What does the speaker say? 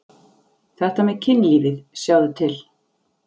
Þetta með kynlífið, sjáðu til.